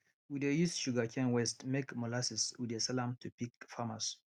we dey use sugarcane waste make molasses we dey sell am to pig farmers